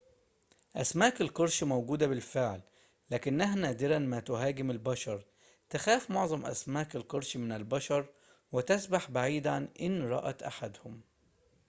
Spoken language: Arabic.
أسماك القرش موجودة بالفعل لكنها نادرًا ما تهاجم البشر تخاف معظم أسماك القرش من البشر وتسبح بعيدًا إن رأت أحدهم